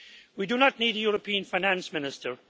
We do not need a European finance minister.